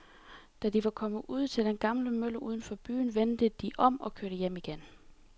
Da de var kommet ud til den gamle mølle uden for byen, vendte de om og kørte hjem igen.